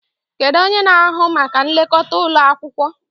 Kedu onye na-ahụ maka nlekọta ụlọ akwụkwọ?